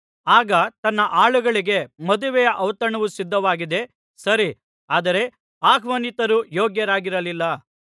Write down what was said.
ಆಗ ತನ್ನ ಆಳುಗಳಿಗೆ ಮದುವೆಯ ಔತಣವು ಸಿದ್ಧವಾಗಿದೆ ಸರಿ ಆದರೆ ಆಹ್ವಾನಿತರು ಯೋಗ್ಯರಾಗಿರಲಿಲ್ಲ